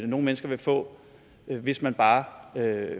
nogle mennesker vil få hvis man bare